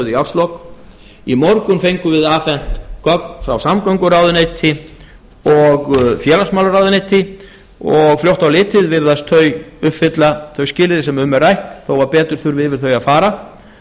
í árslok í morgun fengum við afhent gögn frá samgönguráðuneyti og félagsmálaráðuneyti og fljótt á litið virðast þau uppfylla þau skilyrði sem um er rætt þó betur þurfi yfir þau að fara